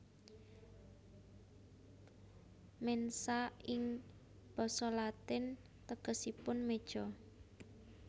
Mensa ing basa Latin tegesipun meja